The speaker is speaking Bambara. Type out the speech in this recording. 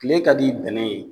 Kile ka d i bɛnɛ ye